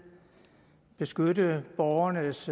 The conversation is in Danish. beskytte borgernes